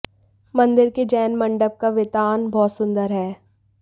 मंदिर के जैन मंडप का वितान बहुत सुंदर है